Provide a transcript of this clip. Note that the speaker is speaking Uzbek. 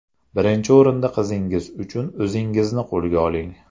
Birinchi o‘rinda qizingiz uchun o‘zingizni qo‘lga oling.